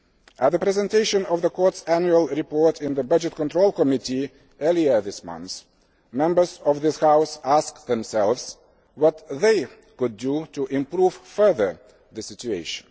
At the presentation of the Court's Annual Report in the Budgetary Control Committee earlier this month, Members of this House asked themselves what they could do to improve further the situation.